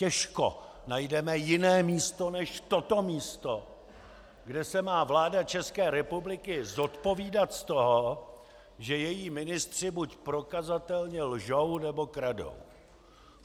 Těžko najdeme jiné místo než toto místo, kde se má vláda České republiky zodpovídat z toho, že její ministři buď prokazatelně lžou, nebo kradou.